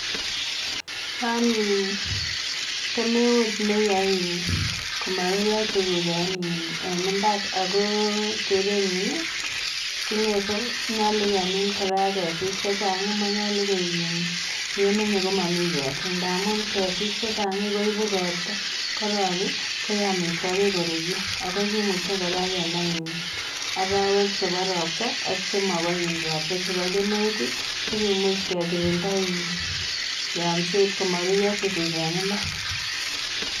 Nonin kemeut ne yoen komarurio tukuk en imbar ako tere nyin king'ete nyolu kemin kora ketik che chang. Manyolu koek in ye manye ko mami ketin ndamun ketik che chang koibu robta, ko robi koyae amitwokik korurio aku kimuche kora kenai in orowek chebo robta ak chemaba in robta, chebo kemeut sikemuch kekirinda in yomset komarurio tukuk en imbar.